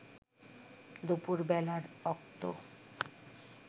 দুপুর বেলার অক্ত